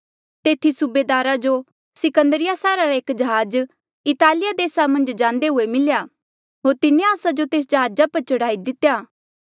तेथी सूबेदारा जो सिकंदरिया सैहरा रा एक जहाज इतालिया देसा मन्झ जांदे हुए मिल्या होर तिन्हें आस्सा जो तेस जहाजा पर चढ़ाई दितेया